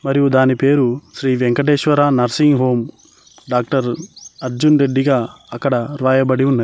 మరియు దాని పేరు Shri Venkateshwara nursing home doctor Arjun Reddy గా అక్కడ రాయబడి ఉన్నది.